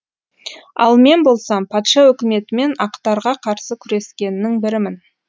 ал мен болсам патша өкіметі мен ақтарға қарсы күрескеннің бірімін